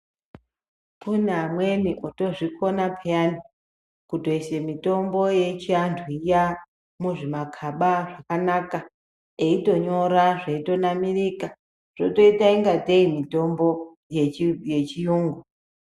Kune amweni otozvikona pheyani ,kutoise mitombo yechiantu iya, muzvimakhaba zvakanaka, eitonyora zveitonamirika, zvotoita ingatei mitombo yechi yechiyungu.